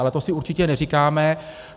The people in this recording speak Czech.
Ale to si určitě neříkáme.